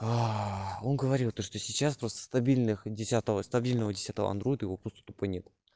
аа он говорил то что сейчас просто стабильных десятого стабильного десятого андройда его просто тупо нет